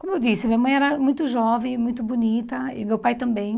Como eu disse, minha mãe era muito jovem, muito bonita, e meu pai também.